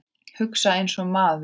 Hugsa einsog einn maður.